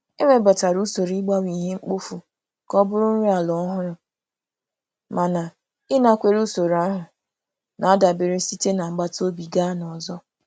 E webatara usoro ịgbanwe ihe mkpofu ka ọ bụrụ nri ala ọhụrụ, mana ịnakwere usoro ahụ na-adabere site n'agbataobi gaa n'ọzọ.